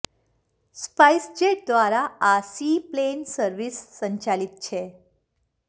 spice jet દ્વારા આ seaplane service સંચાલિત છે